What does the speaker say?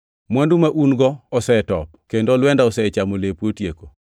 Mwandu ma un-go osetop, kendo olwenda osechamo lepu otieko.